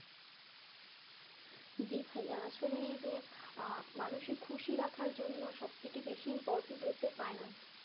জি ভাইয়া আসলেই যে মানুষের খুশি রাখার জন্য সবথেকে বেশি important হচ্ছে finance